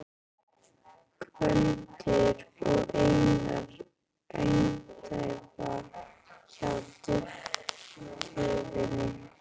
Gvendur og Einar andæfa hjá duflinu.